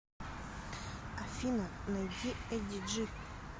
афина найди эдди джи